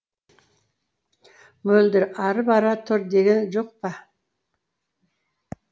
мөлдір ары бара тұр деген жоқ па